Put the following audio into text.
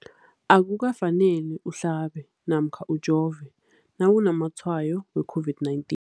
Akuka faneli uhlabe namkha ujove nawu namatshayo we-COVID-19.